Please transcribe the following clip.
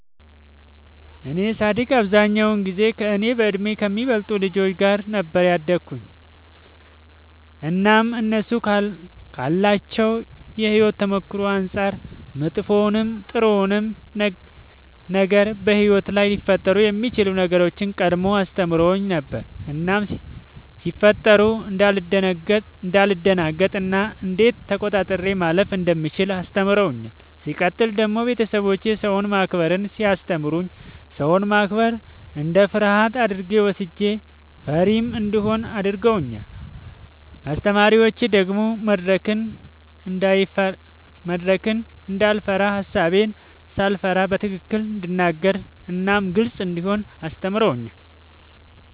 እኔ ሳድግ አብዛኛውን ጊዜ ከእኔ በእድሜ ከሚበልጡ ልጆች ጋር ነበር ያደግሁትኝ እናም እነሱ ካላቸው የሕይወት ተሞክሮ አንጻር መጥፎውንም ጥሩውንም ነገር በሕይወት ላይ ሊፈጠሩ የሚችሉ ነገሮችን ቀድመው አስተምረውኝ ነበር እናም ሲፈጠሩ እንዳልደነግጥ እና እንዴት ተቆጣጥሬ ማለፍ እንደምችል አስተምረውኛል። ሲቀጥል ደግሞ ቤተሰቦቼ ሰውን ማክበርን ሲያስተምሩኝ ሰውን ማክበር እንደ ፍርሃት አድርጌ ወስጄው ፈሪም እንደሆን አድርገውኛል። አስተማሪዎቼ ደግሞ መድረክን እንዳይፈራ ሐሳቤን ሳልፈራ በትክክል እንድናገር እናም ግልጽ እንደሆን አስተምረውኛል።